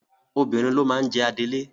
Obìnrin ló máa ń jẹ adelé.